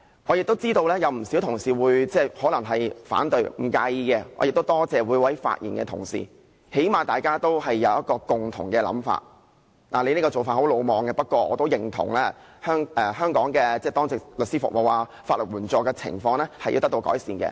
我知道不少同事會反對，但我不介意，亦多謝各位發言的同事，起碼大家能達至一個共同想法，儘管你這做法很魯莽，不過，我都認同香港的當值律師服務，法援情況需要得到改善這一點。